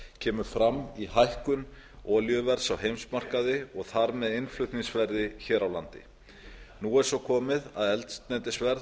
kemur fram í hækkun olíuverðs á heimsmarkaði og þar með innflutningsverði hér á landi nú er svo komið að eldsneytisverð